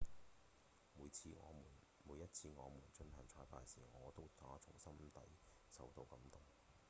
「每一次我們進行彩排時我都打從心底受到感動」